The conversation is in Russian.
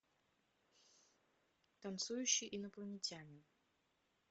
танцующий инопланетянин